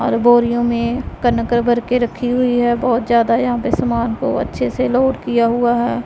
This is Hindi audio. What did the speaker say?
और बोरियों में कंकर भर के रखी हुई है बहोत ज्यादा यहां पे समान को अच्छे से लोड किया हुआ है।